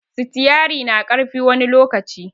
Sitiari na ƙarfi wani lokaci